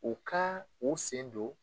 U ka o sen don